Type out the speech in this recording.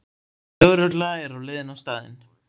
Lögregla er á leiðinni á staðinn